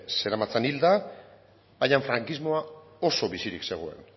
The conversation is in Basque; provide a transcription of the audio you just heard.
zeramatzan hilda baina frankismoa oso bizirik zegoen